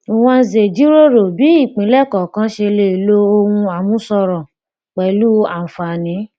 nwanze jíròrò bí ìpínlẹ kọọkan ṣe lè lo ohun àmúṣọrọ pẹlú àǹfààní